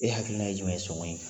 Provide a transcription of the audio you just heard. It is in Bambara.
E hakilina ye jumɛn ye sɔngɔn in kan?